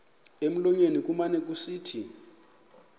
emlonyeni kumane kusithi